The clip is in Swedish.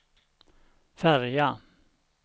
färja